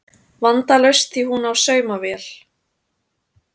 Vandalaust því hún á saumavél